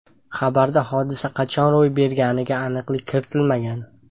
Xabarda hodisa qachon ro‘y berganiga aniqlik kiritilmagan.